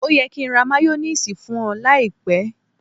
Ó yẹ kí n ra máyónísiìsì fún ọ láìpẹ́.